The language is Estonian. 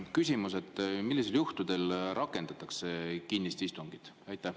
Küsimus: millistel juhtudel rakendatakse kinnist istungit?